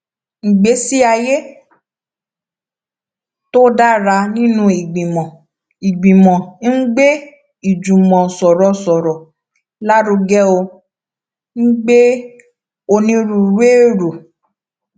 ìgbésí ayé tó dára nínú ìgbìmọ ìgbìmò ń gbé ìjùmòsòròsòrò lárugẹ ó ń gbé onírúurú èrò